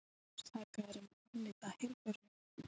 Sakaður um að afneita helförinni